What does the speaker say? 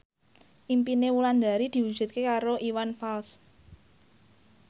impine Wulandari diwujudke karo Iwan Fals